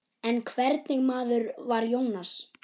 En hvernig maður var Jónas?